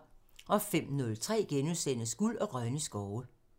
05:03: Guld og grønne skove *(tir)